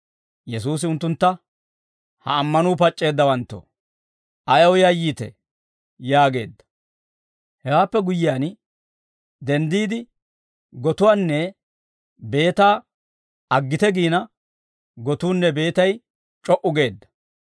Yesuusi unttuntta, «Ha ammanuu pac'c'eeddawanttoo, ayaw yayyiitee?» yaageedda. Hewaappe guyyiyaan denddiide, gotuwaanne beetaa aggite giina, gotuunne beetay c'o"u geedda.